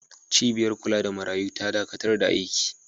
Cibiyar kula da marayu ta dakatar da aiki.